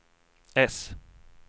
äss